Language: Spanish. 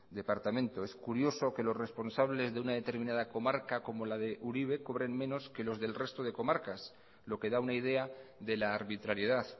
departamento es curioso que los responsables de una determinada comarca como la de uribe cobren menos que los del resto de comarcas lo que da una idea de la arbitrariedad